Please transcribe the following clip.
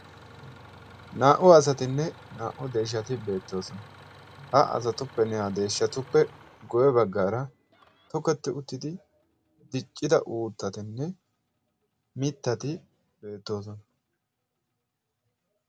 naa77u asatinne naa77u deeshshati beettoosona. ha azatuppe ne7aa deeshshatuppe goye baggaara toketti uttidi diccida uuttatinne mittati beettoosona.